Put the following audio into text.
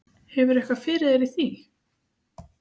Hefur þú eitthvað fyrir þér í því?